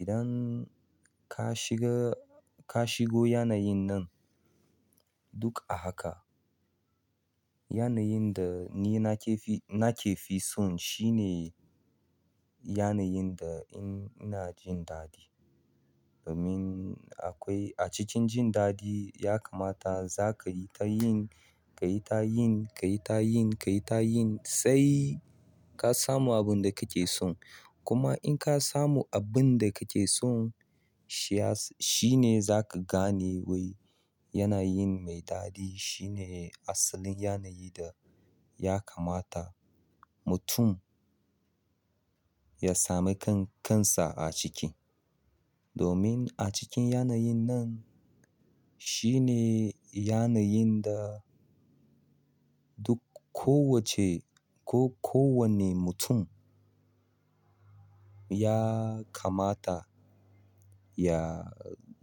Idan ka shiga, ka shigo yanayin nan duk a haka. Yanayin da ni nake fi, nake fi son shi ne yanayin da ina jin daɗi. Domin akwai a cikin jin daɗi ya kamata za ka yi tayin, ka yi tayin, ka yi tayin, ka yi tayin sai ka samu abun da kake son. Kuma in ka samu abun da kake son shi ya s-- shi ne za ka gane wai yanayin mai daɗi shi ne asalin yanayin da ya kamata mutum ya sami kan kansa a ciki. Domin a cikin yanayin nan shi ne yanayin da duk ko wacce ko kowane mutum ya kamata ya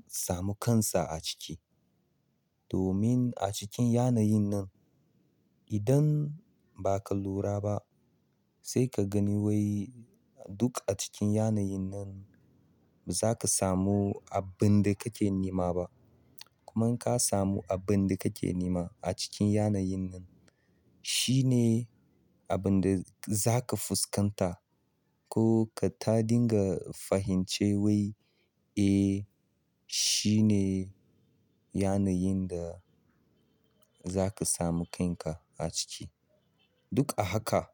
samu kansa a ciki. Domin a cikin yanayin nan idan ba ka lura ba sai ka gani wai duk a cikin yanayin nan ba za ka samu abin da kake nema ba. Kuma in ka samu abin da kake nema a cikin yanayin nan shi ne abin da za ka fuskanta ko ka ta dinga fahimce wai, "Eh shi ne yanayin da za ka samu kanka a ciki." Duk a haka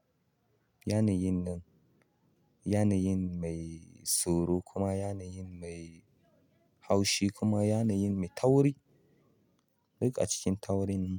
yanayin nan yanayin mai tsoro kuma yanayin mai haushi kuma yanayin mai tauri duk a cikin taurin.